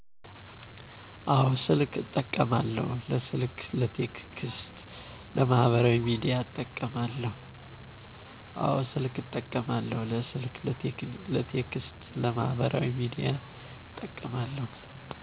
አዎ ስልክ እጠቀማለሁ ለስልክ ለቴክስት ለማህበራዊ ሚዲያ እጠቀማለሁ